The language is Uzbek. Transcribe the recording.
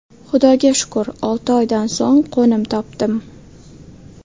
Xudoga shukur, olti oydan so‘ng qo‘nim topdim.